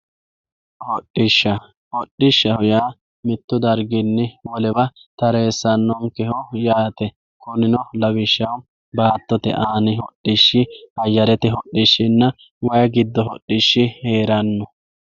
hodhishsha hodhishshaho yaa mittu darginni wolewa tareessannonkeho yaate kunino lawishshaho baattote aani hodhishshi ayyirete hodhishshinna way giddo hodhishshi heeranno.